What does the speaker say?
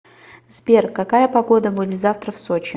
сбер какая погода будет завтра в сочи